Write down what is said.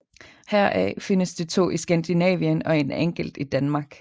Heraf findes de to i Skandinavien og en enkelt i Danmark